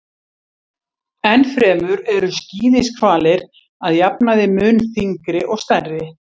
Enn fremur eru skíðishvalir að jafnaði mun þyngri og stærri.